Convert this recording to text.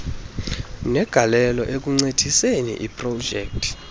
negalelo ekuncediseni iprojekthi